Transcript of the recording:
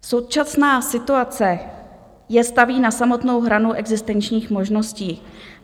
Současná situace je staví na samotnou hranu existenčních možností.